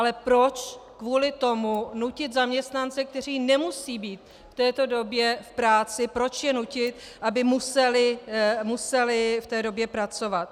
Ale proč kvůli tomu nutit zaměstnance, kteří nemusejí být v této době v práci, proč je nutit, aby museli v té době pracovat?